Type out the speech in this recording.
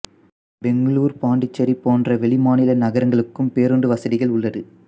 பெங்களூரு பாண்டிச்சேரி போன்ற வெளிமாநில நகரங்களுக்கும் பேருந்து வசதிகள் உள்ளது